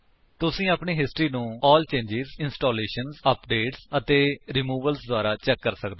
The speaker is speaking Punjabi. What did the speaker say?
ਤੁਸੀ ਆਪਣੀ ਹਿਸਟਰੀ ਨੂੰ ਏਐਲਐਲ ਚੇਂਜਜ਼ ਇੰਸਟਾਲੇਸ਼ਨਜ਼ ਅਪਡੇਟਸ ਅਤੇ ਰਿਮੂਵਲਜ਼ ਦੁਆਰਾ ਚੈਕ ਕਰ ਸਕਦੇ ਹੋ